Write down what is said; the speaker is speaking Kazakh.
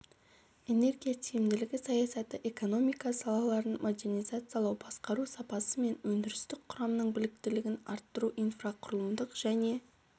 энергия тиімділігі саясаты экономика салаларын модернизациялау басқару сапасы мен өндірістік құрамның біліктілігін арттыру инфрақұрылымдық және